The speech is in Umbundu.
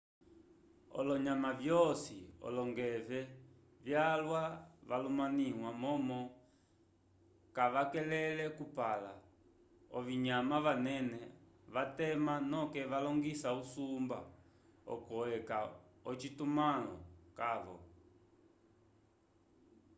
olonyamovyosi olongeve vyalwa valumaniwa momo kavakele kupala ovinyama vanene vatema noke valingisa usumba oco eca ocitumãlo cavo